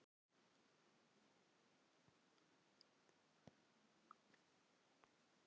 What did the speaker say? En hvern langaði líka til að sauma prufu?